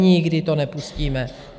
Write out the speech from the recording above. Nikdy to nepustíme!